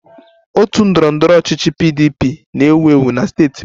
Otu ndọrọ ndọrọ ọchịchị PDP na-ewu ewu na steeti m